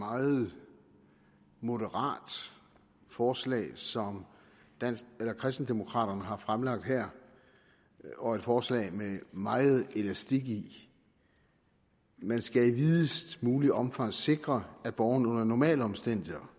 meget moderat forslag som kristendemokraterne har fremsat her og et forslag med meget elastik i man skal i videst muligt omfang sikre at borgerne under normale omstændigheder